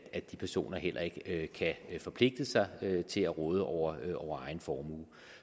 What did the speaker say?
at de personer heller ikke kan forpligte sig til at råde over over egen formue